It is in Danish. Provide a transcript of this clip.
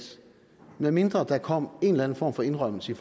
medmindre der kommer en eller anden form for indrømmelse